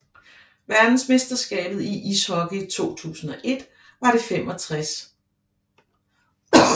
Verdensmesterskabet i ishockey 2001 var det 65